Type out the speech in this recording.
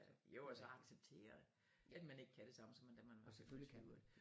Jo og så acceptere at man ikke kan det samme som da man var i sine tyvere